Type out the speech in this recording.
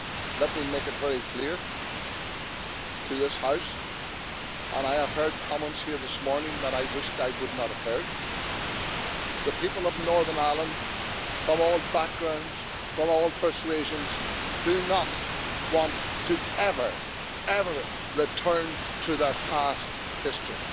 Let me make it very clear to this House and I have heard comments here this morning that I wished I would not have heard the people of Northern Ireland, from all backgrounds, from all persuasions, do not want to ever, ever return to their past history.